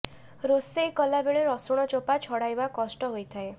ରୋଷେଇ କଲା ବେଳେ ରସୁଣ ଚୋପା ଛଡ଼ାଇବା କଷ୍ଟ ହୋଇଥାଏ